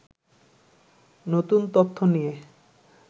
নতুন তথ্য নিয়ে